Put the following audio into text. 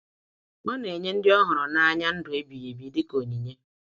Ọ na enye ndị ọhụrụ na anya ndụ ebighị ebi dika onyinye.